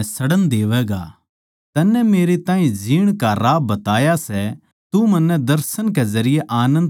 तन्नै मेरै ताहीं जीण का राह बताया सै तू मन्नै दर्शन कै जरिये आनन्द तै भर देवैगा